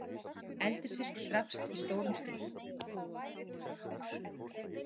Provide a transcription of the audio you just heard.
Eldisfiskur drapst í stórum stíl